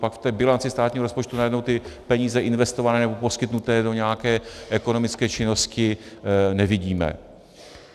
Pak v té bilanci státního rozpočtu najednou ty peníze investované nebo poskytnuté do nějaké ekonomické činnosti nevidíme.